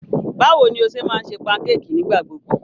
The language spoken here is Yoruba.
Báwo ni o ṣe máa ń ṣe pankéèkì nígbà gbogbo?